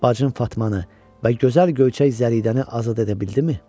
Bacın Fatmanı və gözəl göyçək Zəridəni azad edə bildimi?